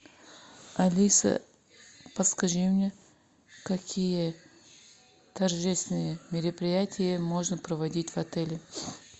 алиса подскажи мне какие торжественные мероприятия можно проводить в отеле